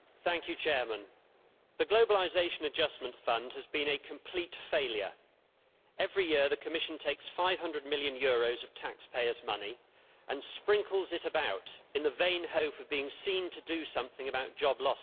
Mr President, the Globalisation Adjustment Fund has been a complete failure. Every year the Commission takes EUR 500 million of taxpayers' money and sprinkles it about in the vain hope of being seen to do something about job losses.